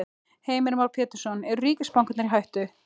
Heimir Már Pétursson: Eru ríkisbankarnir í hættu?